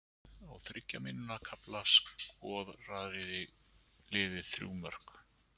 Á þriggja mínútna kafla skoraði liðið þrjú mörk.